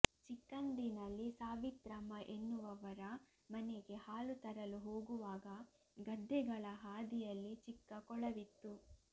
ಚಿಕ್ಕಂದಿನಲ್ಲಿ ಸಾವಿತ್ರಮ್ಮ ಎನ್ನುವವರ ಮನೆಗೆ ಹಾಲು ತರಲು ಹೋಗುವಾಗ ಗದ್ದೆಗಳ ಹಾದಿಯಲ್ಲಿ ಚಿಕ್ಕ ಕೊಳವಿತ್ತು